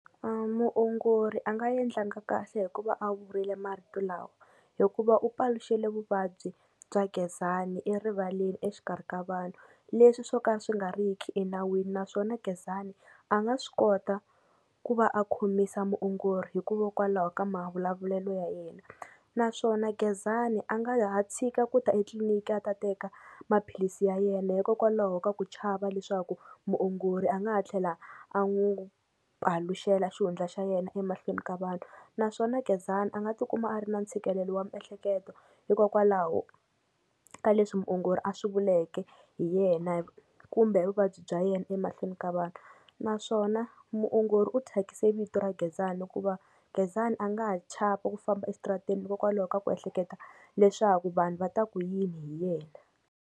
Muongori a nga endlanga kahle hi ku va a vurile marito lawa, hikuva u paluxile vuvabyi bya Gezani erivaleni exikarhi ka vanhu, leswi swo ka swi nga ri ki enawini naswona Gezani a nga swi kota ku va a khomisa muongori hikuvo kwalaho ka mavulavulelo ya yena, naswona Gezani a nga ha tshika ku ta etliliniki a ta teka maphilisi ya yena hikokwalaho ka ku chava leswaku muongori a nga ha tlhela a n'wi paluxela xihundla xa yena emahlweni ka vanhu, naswona Gezani a nga ti kuma a ri na ntshikelelo wa miehleketo hikokwalaho ka leswi muongori a swi vuleke hi yena , kumbe vuvabyi bya yena emahlweni ka vanhu, naswona muongori u thyakise vito ra Gezani hikuva Gezani a nga ha chava ku famba exitarateni hikokwalaho ka ku ehleketa leswaku vanhu va ta ku yini hi yena.